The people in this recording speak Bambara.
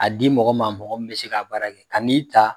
A di mɔgɔ ma mɔgɔ mi bɛ se k'a bara kɛ kan'i ta